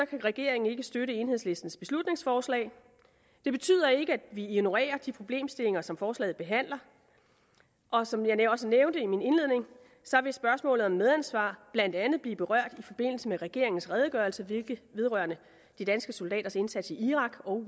kan regeringen ikke støtte enhedslistens beslutningsforslag det betyder ikke at vi ignorerer de problemstillinger som forslaget behandler og som jeg også nævnte i min indledning vil spørgsmålet om medansvar blandt andet blive berørt i forbindelse med regeringens redegørelse vedrørende de danske soldaters indsats i irak og